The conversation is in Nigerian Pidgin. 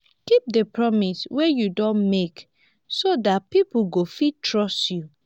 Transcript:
keep di promises wey you don make so dat pipo go fit trust you